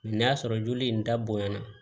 n'a sɔrɔ joli in dabɔyana